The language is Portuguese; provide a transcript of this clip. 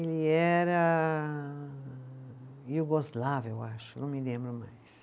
Ele era iugoslavo, eu acho, não me lembro mais.